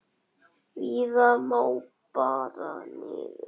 Víða má bera niður.